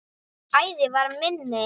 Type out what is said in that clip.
Æðin var minni.